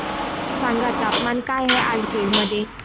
सांगा तापमान काय आहे आज बीड मध्ये